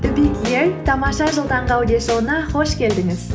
тамаша жыл таңғы аудиошоуына қош келдіңіз